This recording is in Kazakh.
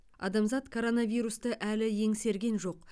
адамзат коронавирусты әлі еңсерген жоқ